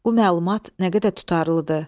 Bu məlumat nə qədər tutarlıdır?